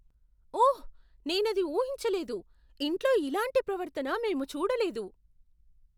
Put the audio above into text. ఓహ్, నేనది ఊహించలేదు. ఇంట్లో ఇలాంటి ప్రవర్తన మేము చూడలేదు.